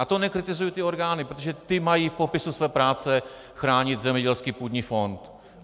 A to nekritizuji ty orgány, protože ty mají v popisu své práce chránit zemědělský půdní fond.